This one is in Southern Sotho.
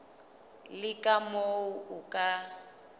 le ka moo o ka